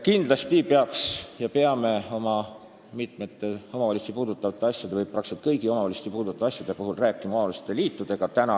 Kindlasti peame mitmete omavalitsusi puudutavate asjade või peaaegu kõigi omavalitsusi puudutavate asjade puhul rääkima omavalitsusliitudega.